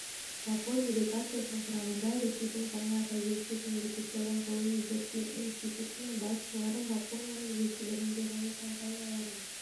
жапон делегациясының құрамында ресейдің және жаңа тәуелсіз мемлекеттердің ғылыми-зерттеу институтының басшылары жапонияның елшілігінің және және компанияларының